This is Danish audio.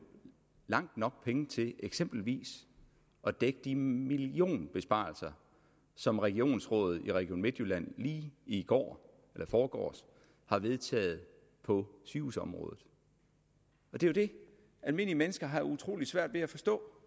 langt nok penge til eksempelvis at dække de millionbesparelser som regionsrådet i region midtjylland lige i går eller i forgårs har vedtaget på sygehusområdet det det almindelige mennesker har utrolig svært ved at forstå